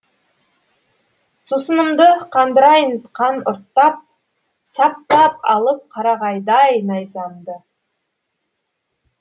сусынымды қандырайын қан ұрттап саптап алып қарағайдай найзамды